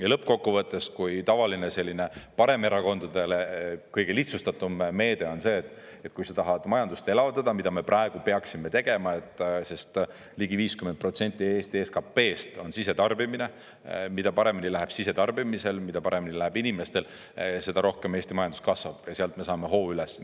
Ja lõppkokkuvõttes, kui tavaline selline paremerakondade kõige lihtsustatum meede on see, et kui sa tahad majandust elavdada, mida me praegu peaksime tegema, sest ligi 50% Eesti SKP-st on sisetarbimine – mida paremini läheb sisetarbimisel, mida paremini läheb inimestel, seda rohkem Eesti majandus kasvab, ja sealt me saame hoo üles.